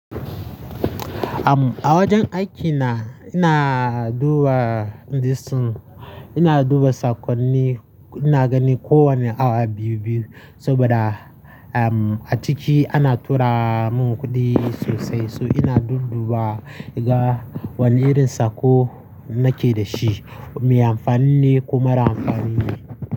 A wajen aikina ina duba disin, ina duba sakonni, ina gani kowane awa biyu-biyu saboda, um, a ciki ana tura mun kuɗi sosai. So ina dudduba ga wane irin saƙo nake da shi, me amfani ne kuma ra'amfani ne.